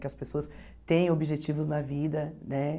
Que as pessoas tenham objetivos na vida, né?